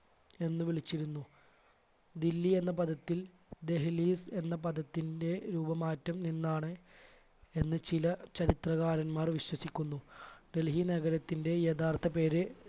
എന്ന് വിളിച്ചിരുന്നു ദില്ലി എന്ന പദത്തിൽ ദഹ്‌ലീഫ് എന്ന പദത്തിൻറെ രൂപമാറ്റം എന്നാണ് എന്ന് ചില ചരിത്രകാരന്മാർ വിശ്വസിക്കുന്നു. ഡൽഹി നഗരത്തിൻറെ യഥാർത്ഥ പേര്